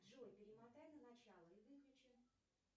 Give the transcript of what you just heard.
джой перемотай на начало и выключи